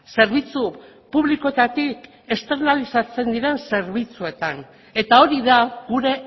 zerbitzu publikoetatik esternalizatzen diren zerbitzuetan eta hori da gure